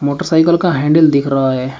Motorcycle का handle दिख रहा है।